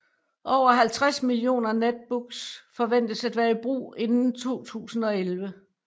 Over 50 millioner Netbooks forventes at være i brug inden 2011